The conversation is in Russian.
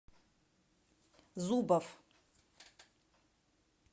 зубов